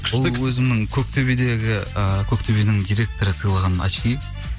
ол өзімнің көктөбедегі ы көктөбенің директоры сыйлаған очки